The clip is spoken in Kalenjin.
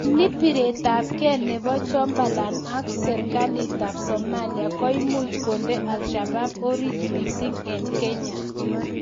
Anii, piretab kee nebo Jubaland ak serkalitab Somalia koimuch konde Alshabaab orit mising en Kenya